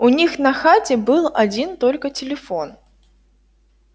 у них на хате был один только телефон